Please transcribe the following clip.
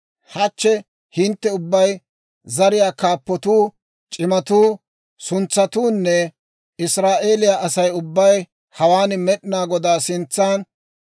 Hachche hintte ubbay, zariyaa kaappatuu, c'imatuu, suntsatuunne Israa'eeliyaa Asay ubbay hawaan Med'inaa Godaa sintsaan,